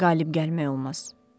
ona qalib gəlmək olmaz.